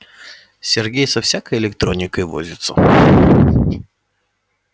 сергей со всякой электроникой возится